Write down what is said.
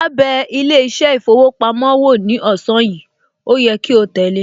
Áá bẹ ilé iṣẹ́ ìfowópamọ́ wo ní ọ̀sán yìí, ó yẹ kí o tẹ̀le